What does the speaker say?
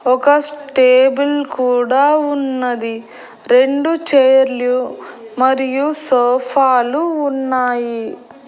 ఒక స్టేబుల్ కూడా ఉన్నది రెండు చేర్లు మరియు సోఫాలు ఉన్నాయి.